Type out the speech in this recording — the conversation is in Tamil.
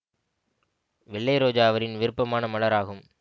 வெள்ளை ரோஜா அவரின் விருப்பமான மலர் ஆகும்